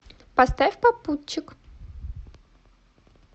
поставь попутчик